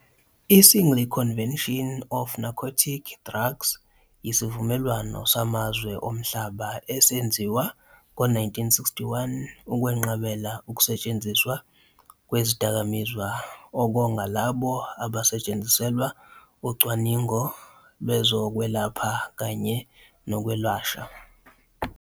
I- Single Convention on Narcotic Drugs yisivumelwano samazwe omhlaba esenziwa ngo-1961 ukwenqabela ukusetshenziswa kwezidakamizwa okonga labo abasetshenziselwa ucwaningo lwezokwelapha kanye nokwelashwa.